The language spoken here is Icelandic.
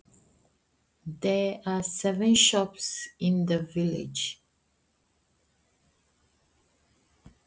Það eru sjö sjoppur í þorpinu!